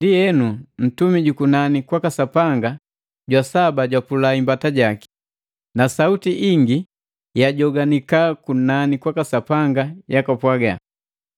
Ndienu, ntumi jukunani kwaka Sapanga jwa saba japula imbata jaki. Na sauti ingi yajoanika kunani kwaka Sapanga yapwaga,